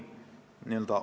Hea juhataja ja ettekandja!